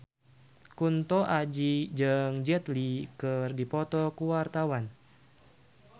Kunto Aji jeung Jet Li keur dipoto ku wartawan